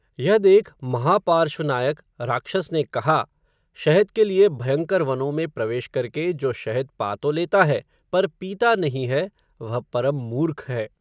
यह देख, महापार्श्र्व नायक, राक्षस ने कहा, शहद के लिए भयंकर वनों में प्रवेश करके, जो शहद पा तो लेता है, पर पीता नहीं है, वह परम मूर्ख है